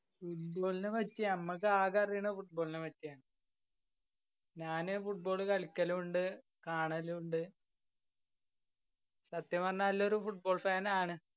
football നേപ്പറ്റി മ്മക്ക് ആകെ അറിയണ football ന പറ്റി ആണ് ഞാന് football കളിക്കലു ഇണ്ട് കാണലു ഇണ്ട്. സത്യം പറഞ്ഞ നല്ലൊരു football fan ആണ്.